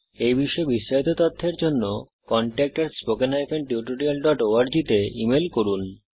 এই বিষয়ে বিস্তারিত তথ্যের জন্য contactspoken tutorialorg তে ইমেল করুন